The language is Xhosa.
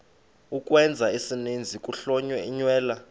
ukwenza isininzi kuhlonyelwa